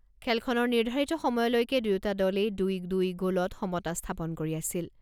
খেলখনৰ নিৰ্ধাৰিত সময়লৈকে দুয়োটা দলেই দুই দুই গ'লত সমতা স্থাপন কৰি আছিল।